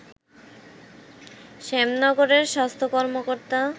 শ্যামনগরের স্বাস্থ্য কর্মকর্তা